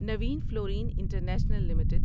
Naveen Fluorine International limited